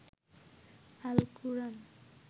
Al-Quran